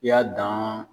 I y'a dan